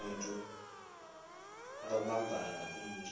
ngumotu obuphambana umntu